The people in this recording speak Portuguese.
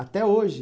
Até hoje?